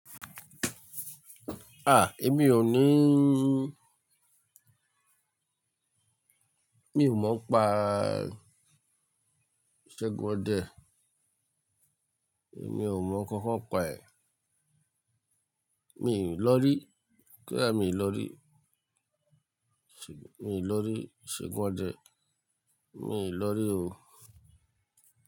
Ah, èmi ò níí, mi ò mọ pa Isegun Ode. Èmi ò mọ nkankan pa ẹ̀. Mi lọ rí. Koda mi lọ rí. Mi ò lọ rí Segunde. Mi lọ rí òó.